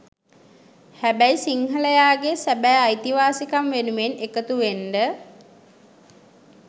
හැබැයි සිංහලයාගේ සැබෑ අයිතිවාසිකම් වෙනුවෙන් එකතුවෙන්ඩ